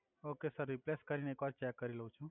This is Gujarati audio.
ઓકે સર રિપ્લેસ કરી ને એક વાર ચેક કરી લવ છુ